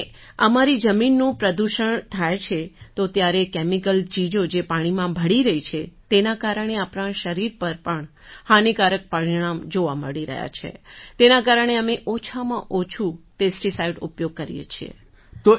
અને અમારી જમીનનું પ્રદૂષણ થાય છે જે તો ત્યારે કેમિકલ ચીજો જે પાણીમાં ભળી રહી છે તેના કારણે આપણા શરીર પર પણ હાનિકારક પરિણામ જોવાં મળી રહ્યાં છે તેના કારણે અમે ઓછામાં ઓછું પેસ્ટિસાઇડનો ઉપયોગ કરીએ છીએ